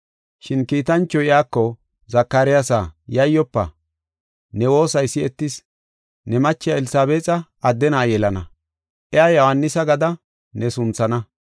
Shin kiitanchoy iyako, “Zakaryaasa yayyofa; ne woosay si7etis. Ne machiya Elsabeexa adde na7a yelana, iya Yohaanisa gada ne sunthana.